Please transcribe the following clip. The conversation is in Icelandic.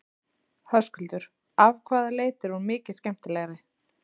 Höskuldur: Af hvaða leyti er hún mikið skemmtilegri?